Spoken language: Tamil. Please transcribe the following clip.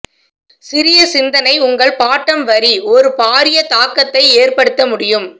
சிறிய சிந்தனை உங்கள் பாட்டம் வரி ஒரு பாரிய தாக்கத்தை ஏற்படுத்த முடியும்